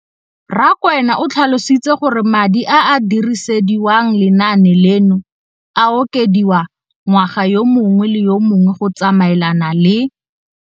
Rakwena o tlhalositse gore madi a a dirisediwang lenaane leno a okediwa ngwaga yo mongwe le yo mongwe go tsamaelana le